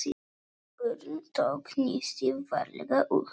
Örn tók nistið varlega upp.